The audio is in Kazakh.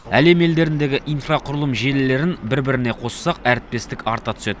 әлем елдеріндегі инфрақұрылым желілерін бір біріне қоссақ әріптестік арта түседі